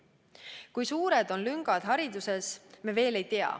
Kui suured on lüngad hariduses, me veel ei tea.